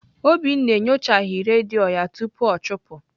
Obinna enyochaghị redio ya tupu ọ chụpụ.